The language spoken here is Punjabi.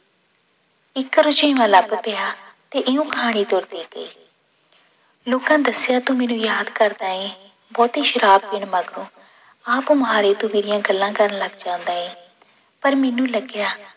ਇੱਕ ਰੁਝੇਵਾਂ ਲੱਭ ਪਿਆ, ਤੇ ਇਹਨੂੰ ਲੋਕਾਂ ਦੱਸਿਆ ਤੂੰ ਮੈਨੂੰ ਯਾਦ ਕਰਦਾ ਹੈਂ ਬਹੁਤੀ ਸ਼ਰਾਬ ਪੀਣ ਮਗਰੋਂ, ਆਪ ਮੁਹਾਰੇ ਤੂੰ ਮੇਰੀਆਂ ਗੱਲਾਂ ਕਰਨ ਲੱਗ ਜਾਂਦਾ ਹੈ, ਪਰ ਮੈਨੂੰ ਲੱਗਿਆ